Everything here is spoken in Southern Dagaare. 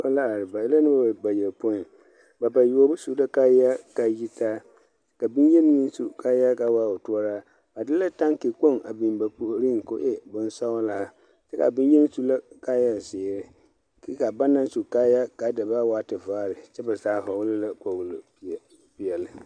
Noba la are ba e la noba bayɔpõĩ. Ba bayoɔbo su la kaayaa kaa yi ta aka boŋyeni meŋ su kaayaa kaa waa o toɔraa. Ba de la taŋke kpoŋ a biŋ ba puoriŋ ko e bonsɔglaa kyɛ ka boŋyeni su la kaayazeere kyɛ kaa banaŋ su kaayaa kaa da boɔa waa tevaare kyɛ ba zaa vɔgele la kpoglo peɛ peɛle.